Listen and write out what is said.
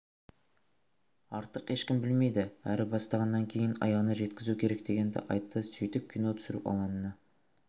артық ешкім білмейді әрі бастағаннан кейін аяғына жеткізу керек дегенді айтты сөйтіп кино түсіру алаңына